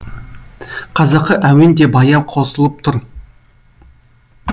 қазақы әуен де баяу қосылып тұр